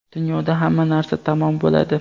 Dunyoda hamma narsa tamom bo‘ladi.